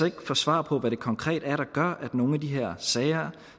ikke få svar på hvad det konkret er der gør at nogle af de her sager